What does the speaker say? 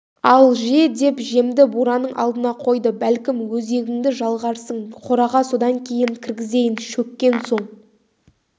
ал же деп жемді бураның алдына қойды бәлкім өзегіңді жалғарсың қораға содан кейін кіргізейін шөккен соң